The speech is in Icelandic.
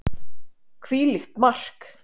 Hvílíkt mark!!